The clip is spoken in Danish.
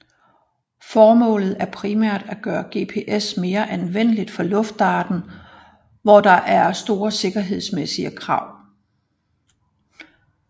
Formålet er primært at gøre GPS mere anvendeligt for luftfarten hvor der er store sikkerhedsmæssige krav